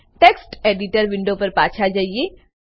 text editor window પર પાછા જઈએ